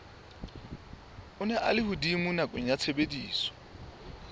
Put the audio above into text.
a lehodimo nakong ya tshebediso